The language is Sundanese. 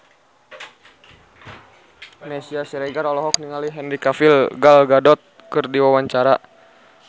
Meisya Siregar olohok ningali Henry Cavill Gal Gadot keur diwawancara